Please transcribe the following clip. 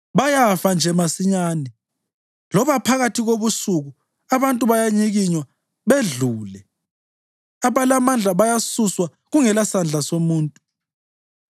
Bayafa nje masinyane, loba phakathi kobusuku; abantu bayanyikinywa bedlule; abalamandla bayasuswa kungelasandla somuntu.